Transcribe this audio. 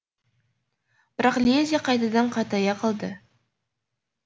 бірақ лезде қайтадан қатая қалды